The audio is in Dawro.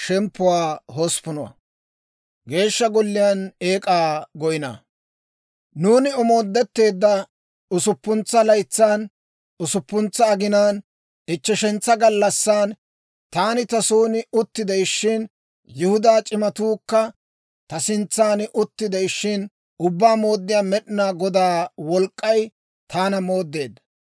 Nuuni omoodetteedda usuppuntsa laytsan, usuppuntsa aginaan, ichcheshantsa gallassan, taani ta son utti de'ishshin, Yihudaa c'imatuukka ta sintsan utti de'ishshin, Ubbaa Mooddiyaa Med'inaa Godaa wolk'k'ay taana mooddeedda.